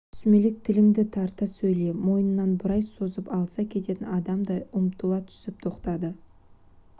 сүмелек тіліңді тарта сөйле мойынын бұрай созып алыса кететін адамдай ұмтыла түсіп тоқтады